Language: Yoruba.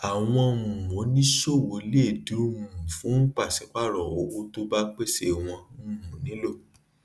àwọn um oníṣòwò lè dù um fún pàsípàrọ owó tó bá pèsè wón um nílò